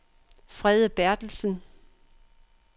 Frede Berthelsen